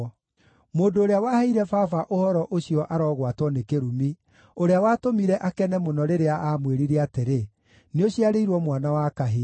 Mũndũ ũrĩa waheire baba ũhoro ũcio arogwatwo nĩ kĩrumi, ũrĩa watũmire akene mũno, rĩrĩa aamwĩrire atĩrĩ, “Nĩũciarĩirwo mwana wa kahĩĩ!”